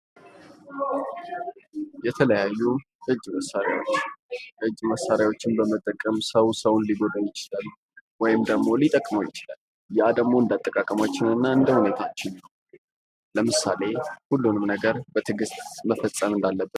የተለያዩ እጅ መሳሪያዎች እጅ መሣሪያዎችን በመጠቀም ሰው ሰውን ሊጎዳ ይችላል ወይም ደግሞ ሊጠቅመው ይችላል ያ ደግሞ እንዳጠቃቀማችን እና እንደ ሁኔታችን ነው ለምሳሌ ሁሉንም ነገር በትግስት መፈፀም እንዳለብን